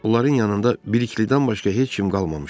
Onların yanında Biliklidən başqa heç kim qalmamışdı.